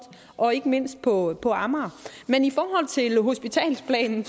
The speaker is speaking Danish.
og ikke mindst på på amager men i forhold til hospitalsplan